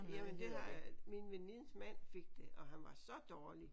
Jamen det har min venindens mand fik det og han var så dårlig